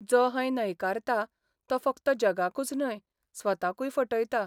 जो हैं न्हयकारता तो फकत जगाकूच न्हय, स्वताकूय फटयता.